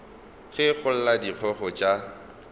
ge go lla dikgogo tša